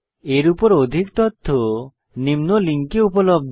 এর উপর অধিক তথ্য নিম্ন লিঙ্কে উপলব্ধ